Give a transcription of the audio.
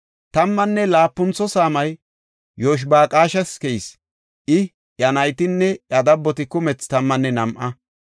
Tammanne laapuntho saamay Yoshibaqaashas keyis; I, iya naytinne iya dabboti kumethi tammanne nam7a.